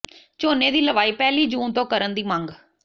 ਝੋਨੇ ਦੀ ਲਵਾਈ ਪਹਿਲੀ ਜੂਨ ਤੋਂ ਕਰਨ ਦੀ ਮੰਗ